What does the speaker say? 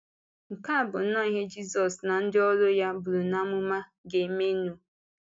Nke a bụ nnọọ ihe Jisọs na ndị ọ̀rụ ya buru n’ámụ̀mà ga-eme nụ.